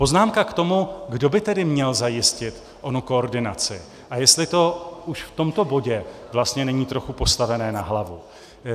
Poznámka k tomu, kdo by tedy měl zajistit onu koordinaci a jestli to už v tomto bodě vlastně není trochu postavené na hlavu.